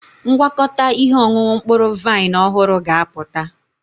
Ngwakọta ihe ọṅụṅụ mkpụrụ vaịn ọhụrụ ga-apụta.